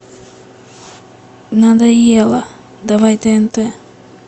надоело давай тнт